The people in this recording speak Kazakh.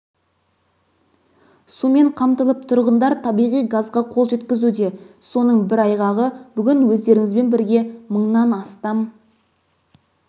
сумен қамтылып тұрғындар табиғи газға қол жеткізуде соның бір айғағы бүгін өздеріңізбен бірге мыңнан астам